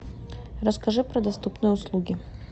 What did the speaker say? расскажи про доступные услуги